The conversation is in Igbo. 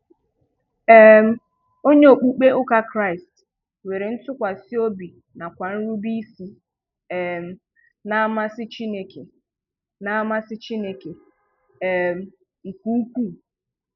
um Onye okpukpe ụka Kraịst nwere ntụkwasị obi na kwa nrube isi um n'amasị Chineke n'amasị Chineke um nke ukwu.